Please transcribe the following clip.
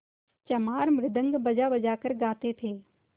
चमार मृदंग बजाबजा कर गाते थे